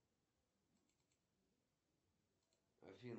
сбер сделай чтоб стало светло